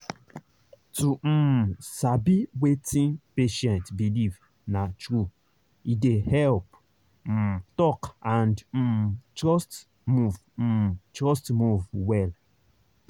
to um sabi wetin patient believe—na true—e dey help um talk and um trust move um trust move well.